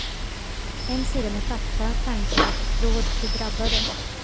En sida med fakta, tankar och råd till drabbade.